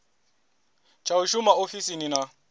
tsha u shuma ofisini na